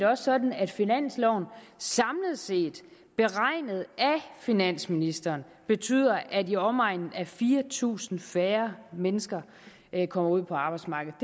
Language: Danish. også sådan at finansloven samlet set beregnet af finansministeren betyder at i omegnen af fire tusind færre mennesker kommer ud på arbejdsmarkedet